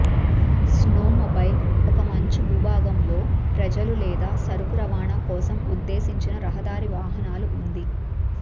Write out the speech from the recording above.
snowmobile ఒక మంచు భూభాగం లో ప్రజలు లేదా సరుకు రవాణా కోసం ఉద్దేశించిన రహదారి వాహనాలు ఉంది